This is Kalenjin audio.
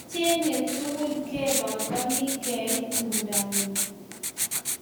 Achek tugul kepangani keit tumdo ng'ung